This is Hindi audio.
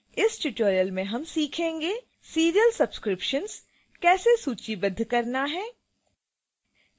इस tutorial में हम सीखेंगे